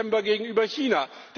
11. Dezember gegenüber China.